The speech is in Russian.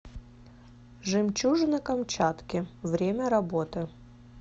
жемчужина камчатки время работы